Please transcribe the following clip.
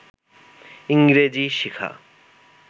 ইংরেজি শেখা